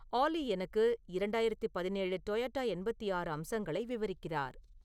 ஆல்லி எனக்கு இரண்டாயிரத்து பதினேழு டொயோட்டா எண்பத்தி ஆறு அம்சங்களை விவரிக்கிறார்